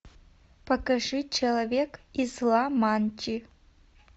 покажи человек из ламанчи